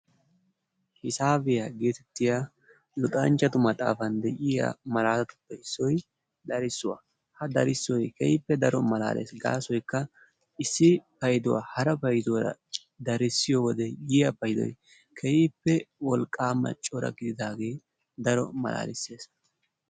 hisaabiya getettiyaa luxanchchatu maxafaan de'iyaa malatatuppe issoy darissuwaa. Ha darssoy keehippe daro malalees. Gaasoykka issi paydduwa hara paydduwara darissiyo wode yiyyaa payddoy keehippe wolqqamanne cora gididaage daro malaalees.